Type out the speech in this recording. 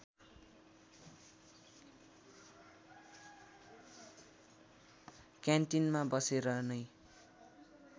क्यान्टिनमा बसेर नै